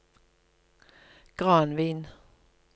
Granvin